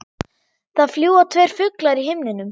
Það fljúga tveir fuglar í himninum.